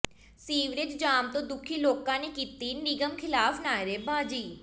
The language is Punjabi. ਸੀਵਰੇਜ ਜਾਮ ਤੋਂ ਦੁਖੀ ਲੋਕਾਂ ਨੇ ਕੀਤੀ ਨਿਗਮ ਖਿਲਾਫ਼ ਨਾਅਰੇਬਾਜ਼ੀ